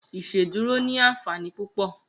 Iṣédùró ni ànfání púpọ